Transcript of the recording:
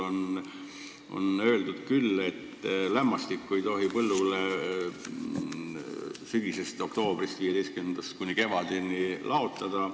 Siin on öeldud, et lämmastikväetist ei tohi põllule 15. oktoobrist kuni kevadeni laotada.